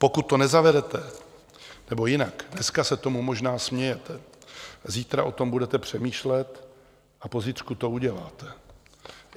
Pokud to nezavedete - nebo jinak, dneska se tomu možná smějete, zítra o tom budete přemýšlet a po zítřku to uděláte.